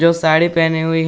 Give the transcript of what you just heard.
जो साड़ी पहनी हुई --